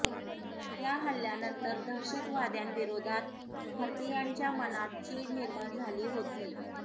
या हल्ल्यानंतर दहशतवाद्यांविरोधात भारतीयांच्या मनात चीड निर्माण झाली होती